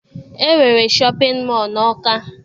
E nwere shọpịn mọọ na Ọka